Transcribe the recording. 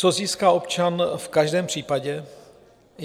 Co získá občan v každém případě?